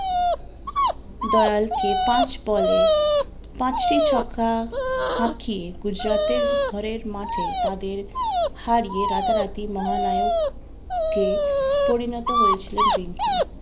দয়াল কে পাঁচ বলে পাঁচটি ছক্কা হাঁকিয়ে গুজরাটের ঘরের মাঠে তাদের হারিয়ে রাতা রাতি মহানায়ক কে পরিণত হয়েছিললেন রিঙ্কু